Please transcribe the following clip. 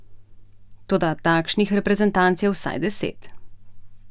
Toda takšnih reprezentanc je vsaj deset.